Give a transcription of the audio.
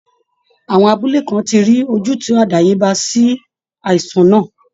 Àwọn abúlé kan ti rí ojútùú àdáyébá sí àìsàn náà